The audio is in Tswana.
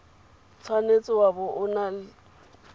tshwanetse wa bo o na